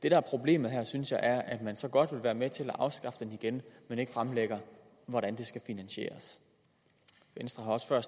er problemet her synes jeg er at man så godt vil være med til at afskaffe den igen men ikke fremlægger hvordan det skal finansieres venstre har også før